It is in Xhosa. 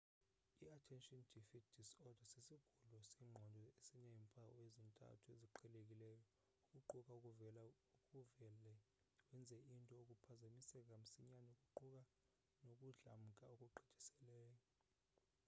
i-attention deficit disorder sisigulo sengqondo esineempawu ezintathu eziqhelekileyo eziquka ukuvele wenze izinto ukuphazamiseka msinyane kuquka nokudlamka okugqithiseleyo